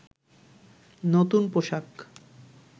নতুন পোশাক